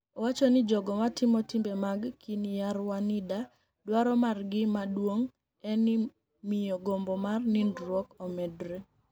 Owacho nii jogo matimo timbe mag Kiniyarwanida, dwaro margi maduonig' eni miyo gombo mar niinidruok omedre.